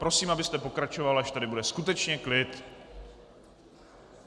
Prosím, abyste pokračoval, až tady bude skutečně klid.